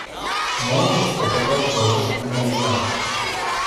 можешь показать божественная ярость